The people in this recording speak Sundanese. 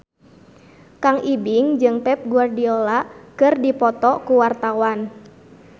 Kang Ibing jeung Pep Guardiola keur dipoto ku wartawan